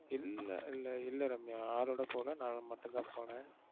இல்ல இல்ல இல்ல ரம்யா. ஆளோட போல நான் மட்டும் தான் போனேன்.